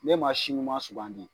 Ne man si ɲuman sugandi.